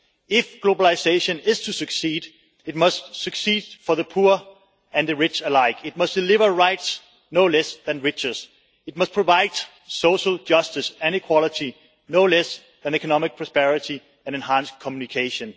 if globalisation is to succeed, it must succeed for poor and rich alike. It must deliver rights no less than riches. It must provide social justice and equality no less than economic prosperity and enhanced communication.